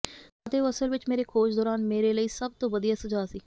ਅਤੇ ਉਹ ਅਸਲ ਵਿਚ ਮੇਰੇ ਖੋਜ ਦੌਰਾਨ ਮੇਰੇ ਲਈ ਸਭ ਤੋਂ ਵਧੀਆ ਸੁਝਾਅ ਸੀ